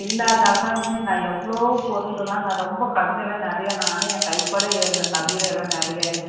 இல்லாதால்தான் இன்னும் நான் எவ்வளவோ பொருள் எல்லாம் நான் ரொம்ப கவிதையெல்லாம் நிறைய நானே என் கைப்பட எழுதின கவிதை எல்லாம் நிறைய